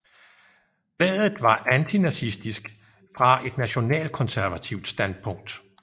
Bladet var antinazistisk fra et nationalkonservativt standpunkt